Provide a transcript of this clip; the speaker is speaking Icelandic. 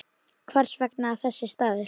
Hvers vegna þessi staður?